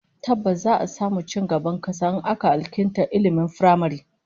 Tabbas, za'a samu ci gaban kasa in aka alkinta ilmin firamare